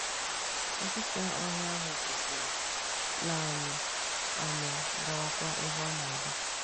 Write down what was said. Nkịta ọhịa ahụ kwụsịrị, lee anyị anya, gawakwa ebe ọ na - aga.